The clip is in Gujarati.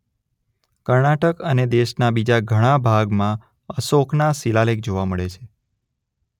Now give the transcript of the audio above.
કર્ણાટક અને દેશના બીજા ઘણા ભાગમાં અશોકના શિલાલેખ જોવા મળે છે.